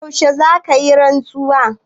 Yaushe za ka yi rantsuwa?